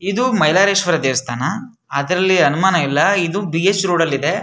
ಇದು ಮೈಲಾರೇಶ್ವರ ದೇವಸ್ಥಾನ ಅದರಲ್ಲಿ ಅನುಮಾನನೇ ಇಲ್ಲ ಇದು ಬಿ ಎಸ್ ರೋಡ್ ಅಲ್ಲಿ ಇದೆ.